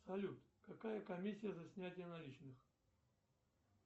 салют какая комиссия за снятие наличных